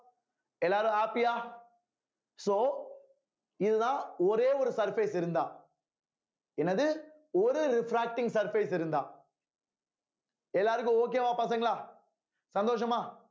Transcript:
எல்லாரும் happy ஆ so இதுதான் ஒரே ஒரு surface இருந்தா என்னது ஒரு refracting surface இருந்தா எல்லாருக்கும் okay வா பசங்களா சந்தோஷமா